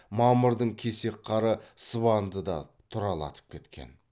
мамырдың кесек қары сыбанды да тұралатып кеткен